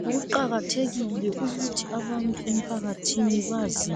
Kuqakathekile ukuthi abantu emphakathini bazi